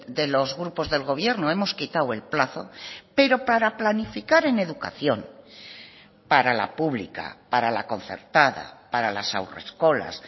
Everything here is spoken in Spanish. de los grupos del gobierno hemos quitado el plazo pero para planificar en educación para la pública para la concertada para las haurreskolas